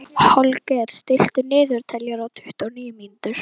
Holger, stilltu niðurteljara á tuttugu og níu mínútur.